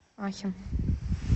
ахен